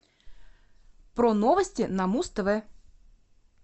про новости на муз тв